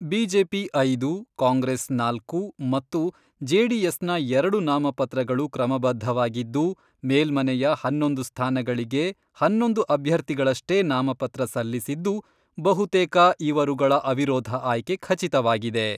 BJP ಐದು, ಕಾಂಗ್ರೆಸ್ ನಾಲ್ಕು ಮತ್ತು ಜೆಡಿಎಸ್ನ ಎರಡು ನಾಮಪತ್ರಗಳು ಕ್ರಮಬದ್ದವಾಗಿದ್ದು ಮೇಲ್ಮನೆಯ ಹನ್ನೊಂದು ಸ್ಥಾನಗಳಿಗೆ ಹನ್ನೊಂದು ಅಭ್ಯರ್ಥಿಗಳಷ್ಟೇ ನಾಮಪತ್ರ ಸಲ್ಲಿಸಿದ್ದು, ಬಹುತೇಕ ಇವರುಗಳ ಅವಿರೋಧ ಆಯ್ಕೆ ಖಚಿತವಾಗಿದೆ.